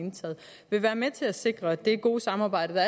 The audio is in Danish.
indtaget vil være med til at sikre at det gode samarbejde der